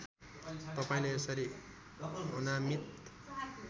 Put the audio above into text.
तपाईँले यसरी अनामीत